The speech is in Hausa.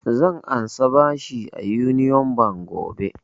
Zan ansa bashi a union bank gobe